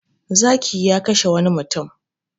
Zaki ya kashe wani mutum.